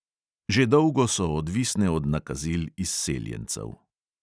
Že dolgo so odvisne od nakazil izseljencev.